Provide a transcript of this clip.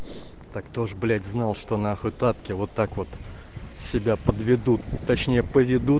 так кто ж блять знал что нахуй тапки вот так вот себя подведут точнее поведут